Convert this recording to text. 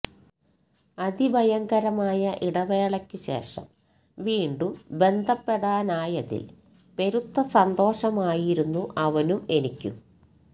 അതിഭയങ്കരമായ ഇടവേളക്കുശേഷം വീണ്ടും ബന്ധപ്പെടാനായതിൽ പെരുത്ത സന്തോഷമായിരുന്നു അവനും എനിക്കും